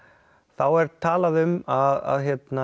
þá er talað um að